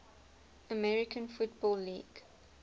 american football league